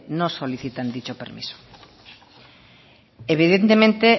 no solicitan dicho permiso evidentemente